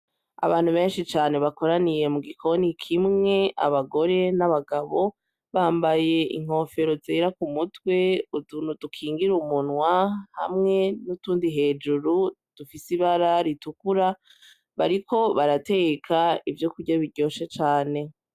Abantu benshi cane bakoraniye mu gikoni kimwe, abagore n’abagabo bambaye inkofero zera kumutwe, utuntu dukingira umunwa hamwe nutundi turi hejuru dufise ibara ritukura, bariko barateka ivyokurya biryoshe cane.